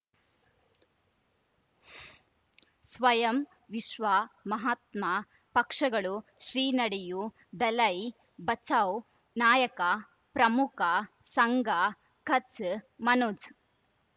ಸ್ವಯಂ ವಿಶ್ವ ಮಹಾತ್ಮ ಪಕ್ಷಗಳು ಶ್ರೀ ನಡೆಯೂ ದಲೈ ಬಚೌ ನಾಯಕ ಪ್ರಮುಖ ಸಂಘ ಕಚ್ ಮನೋಜ್